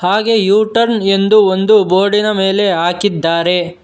ಹಾಗೆ U turn ಎಂದು ಒಂದು ಬೋರ್ಡಿನ ಮೇಲೆ ಹಾಕಿದ್ದಾರೆ.